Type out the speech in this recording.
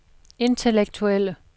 intellektuelle